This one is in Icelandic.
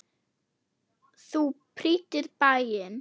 Þú prýddir bæinn.